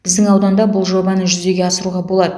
біздің ауданда бұл жобаны жүзеге асыруға болады